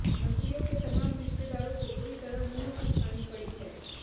मंत्रियों के तमाम रिश्तेदारों को बुरी तरह मुंह की खानी पड़ी है